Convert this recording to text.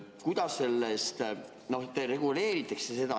Kuidas seda reguleeritakse?